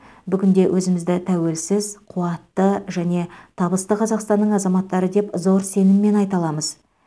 бүгінде өзімізді тәуелсіз қуатты және табысты қазақстанның азаматтары деп зор сеніммен айта аламыз